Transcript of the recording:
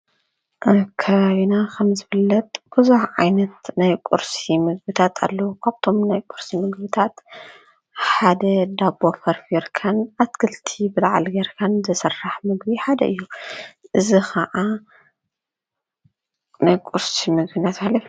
ኣብ ከባቢና ከም ዝፍለጥ ብዙሕ ዓይነት ናይ ቊርሲ ምግብታት ኣለዉ፡፡ ካብቶም ናይ ቊርሲ ምግብታት ሓደ ዳቦ ፈርፍርካን ኣትክልቲ ብላዕሊ ጌርካን ዝስራሕ ምግቢ ሓደ እዩ፡፡ እዚ ኸዓ ናይ ቊርሲ ምግቢ እናተባህለ ይፍለጥ፡፡